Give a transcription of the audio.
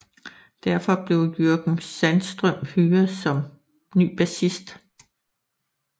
Derfor blev Jörgen Sandström hyret som ny bassist